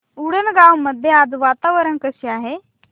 उंडणगांव मध्ये आज वातावरण कसे आहे